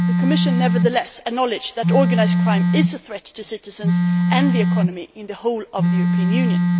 The Commission nevertheless acknowledges that organised crime is a threat to citizens and the economy throughout the European Union.